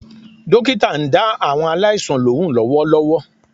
Dókítà náà ń dá àwọn aláìsàn lóhùn lówólówó